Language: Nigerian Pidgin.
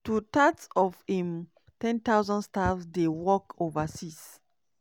two-thirds of im 10000 staff dey work overseas.